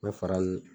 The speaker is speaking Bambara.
N bɛ fara nun